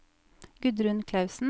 Gudrun Klausen